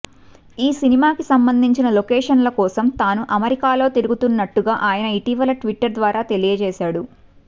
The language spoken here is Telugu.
ఈ సినిమాకి సంబంధించిన లొకేషన్ల కోసం తాను అమెరికాలో తిరుగుతున్నట్టుగా ఆయన ఇటీవల ట్విట్టర్ ద్వారా తెలియజేశాడు